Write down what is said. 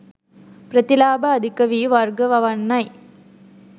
ප්‍රතිලාභ අධික වී වර්ග වවන්නයි.